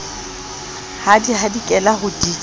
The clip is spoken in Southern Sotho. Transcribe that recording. di hadikela ho di ja